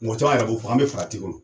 Mɔgɔ cama yɛrɛ b'o fɔ an be farati kɔnɔ